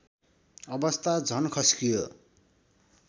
अवस्था झन खस्कियो